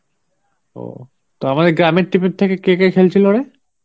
তো আমাদের গ্রামের team থেকে কে কে খেলছিল রে?